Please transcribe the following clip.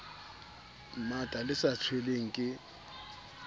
mmata le sa tshelweng ke